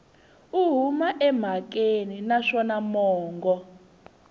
u huma emhakeni naswona mongo